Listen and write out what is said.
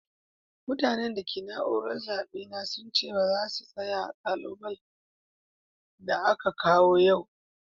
Mutane da ke a'naúrar zabe na sun ce baza su tsaya a'kubile da aka kawo yau.